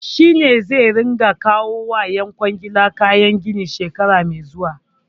Shi ne zai ringa kawo wa ƴan kwangila kayan gini shekara mai zuwa.